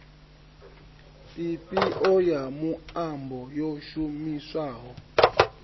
ifhio ya muambo yo shumiswaho